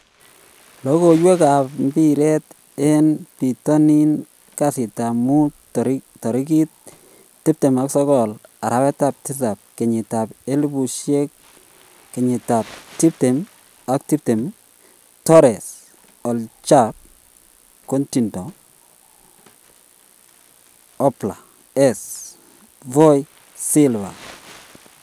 Logoiwek ap mbiret en pitonin kasitap muut tarigit 29.07.2020 Torres, Hojbjerg, Coutinho, Oblak, Eze, Foyth, Silva